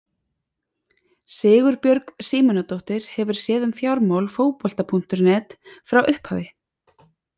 Sigurbjörg Símonardóttir hefur séð um fjármál Fótbolta.net frá upphafi.